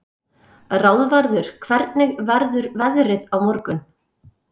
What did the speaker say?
Ráðvarður, hvernig verður veðrið á morgun?